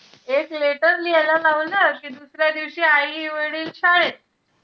एक letter लिहायला लावा ना, कि दुसऱ्या दिवशी आई-वडील शाळेत.